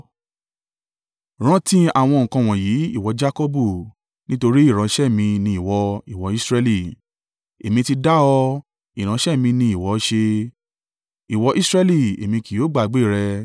“Rántí àwọn nǹkan wọ̀nyí, ìwọ Jakọbu, nítorí ìránṣẹ́ mi ni ìwọ, ìwọ Israẹli. Èmi ti dá ọ, ìránṣẹ́ mi ni ìwọ ṣe, ìwọ Israẹli, Èmi kì yóò gbàgbé rẹ.